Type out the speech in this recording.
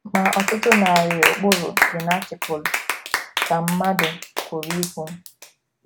‘ Ma ọtụtụ narị ụkpụrụ dị na Atịkụlụ, ’ ka mmadụ pụrụ ikwu.